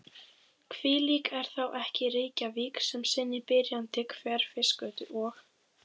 Hvílík er þá ekki Reykjavík með sinni byrjandi Hverfisgötu og